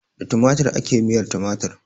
Da tumatir ake yin miyar tumatir.